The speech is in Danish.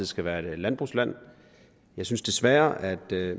skal være et landbrugsland jeg synes desværre at